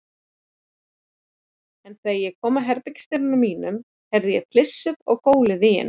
En þegar ég kom að herbergisdyrunum mínum, heyrði ég flissið og gólið í henni.